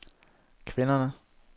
kvinderne